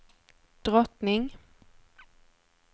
drottning